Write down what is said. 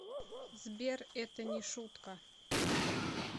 сбер это не шутка